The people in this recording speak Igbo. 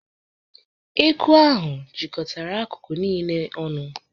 Eku ahụ jikọtara akụkụ niile ọnụ.